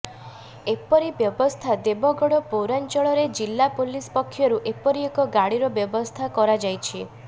ଏପରି ବ୍ୟବସ୍ଥା ଦେବଗଡ଼ ପୌରାଞ୍ଚଳରେ ଜିଲ୍ଲା ପୁଲିସ ପକ୍ଷରୁ ଏପରି ଏକ ଗାଡ଼ିର ବ୍ୟବସ୍ଥା କରାଯାଇଛି